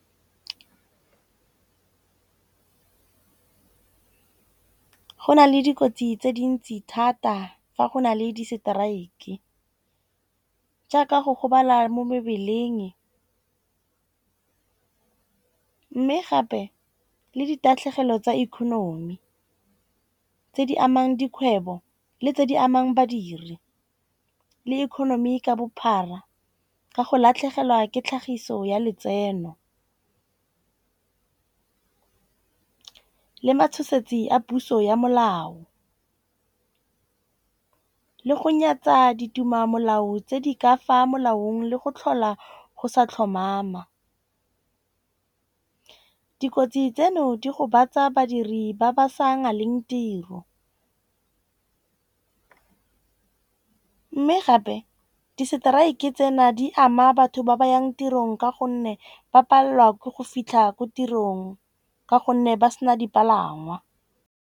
Go na le dikotsi tse dintsi thata fa go na le di strike. Jaaka go gobala mo mebeleng gape le ditatlhegelo tsa economy. Tse di amang dikgwebo le tse di amang badiri le economy ka bophara ka go latlhegelwa ke tlhagiso ya letseno. Le matshosetsi a puso ya molao le go nyatsa ditema molao tse di ka fa molaong le go tlhola go sa tlhomama. Dikotsi tseno di gobatsa badiri ba ba sa naleng tiro. Mme gape di strike tsena di ama batho ba ba yang tirong. Ka gonne ba palelwa ke go fitlha ko tirong ka gonne ba sena dipalangwa.